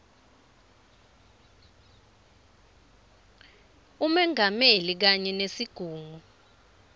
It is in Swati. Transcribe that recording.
umengameli kanye nesigungu